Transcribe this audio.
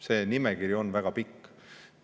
See nimekiri on väga pikk.